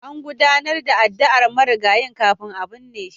An gudanar da addu'ar marigayin kafin a binne shi.